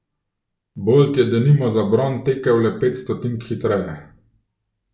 Bolt je denimo za bron tekel le pet stotink hitreje!